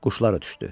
Quşlar ötdü.